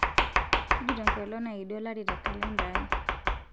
tujuto enkolong' naidi olari te kalenda ai